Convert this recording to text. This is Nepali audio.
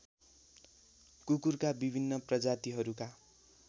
कुकुरका विभिन्न प्रजातीहरूका